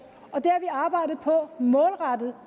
og det arbejdet på